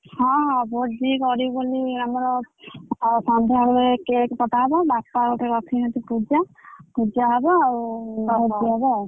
ହଁ ହଁ ଭୋଜି କରିବୁ ବୋଲି ଆମର ସନ୍ଧ୍ୟାବେଳେ cake କଟାହବ ବାପା ଗୋଟେ ରଖିଛନ୍ତି ପୂଜା ପୂଜା ହବ ଆଉ ଭୋଜି ହବ ଆଉ।